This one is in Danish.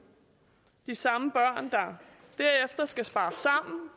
de samme børn der derefter skal spare sammen